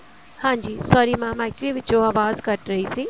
ਹਾਂਜੀ sorry mam actually ਵਿੱਚੋ ਆਵਾਜ਼ ਕੱਟ ਰਹੀ ਸੀ